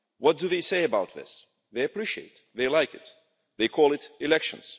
What do they say about this? They appreciate it, they like it, they call it elections'.